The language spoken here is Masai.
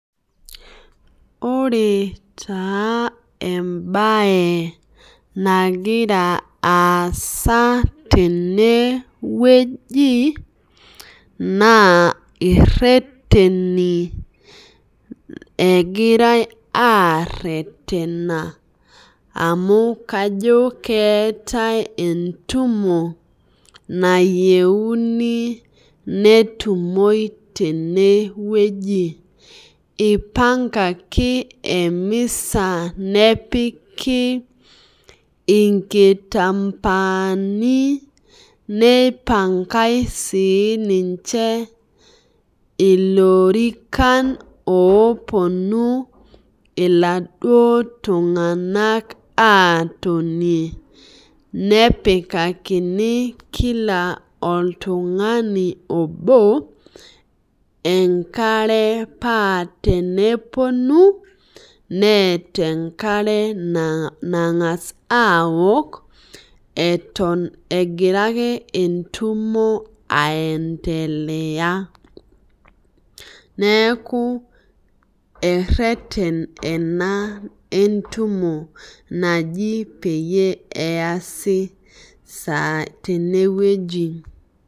Ore taa embae nagira aasa tenewueji na ireteni egirai aretena amu kajo keetae entumo nayieni netumoi tenewueji ipangaki emisa nepiki inkitambaani nipangai ilorikan oponu laduo tunganak atonie nepikakini kila oltungani obo enkare pa teneponu neeta enkare nangasa aaok etom egira entumo aiendelea neaku ereten ena entumo naji peasi sai tenewueji